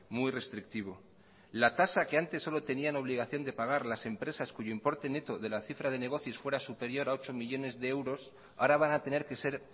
muy restrictivo la tasa que antes solo tenían obligación de pagar las empresas cuyo importe neto de la cifra de negocios fuera superior a ocho millónes de euros ahora van a tener que ser